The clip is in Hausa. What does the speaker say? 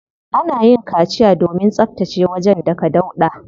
Ana yin kaciya domin tsabtace wajen daga dauɗa.